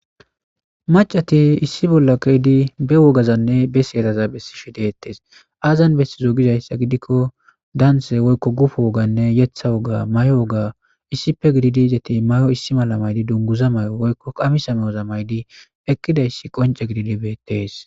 Maccati issi bolla keiddi ba woggazanne be seeraza bessishe dettes azan bessiizo giizayssa giidiko daanthe woykko guuppo wooganne yeththa woogga maayo woogganne issippe giddidi izzeti maayo issi malla maayidi duungguza mayo woykko qaamissa mayyoza mayyidi eqqidayssi qoncce giddidi bettes.